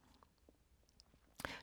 TV 2